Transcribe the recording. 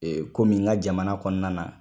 komi n ka jamana kɔnɔna na.